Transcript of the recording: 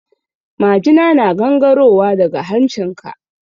Majina na gangaro wa daga hancin ka.